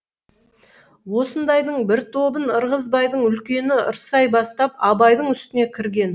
осындайдың бір тобын ырғызбайдың үлкені ырсай бастап абайдың үстіне кірген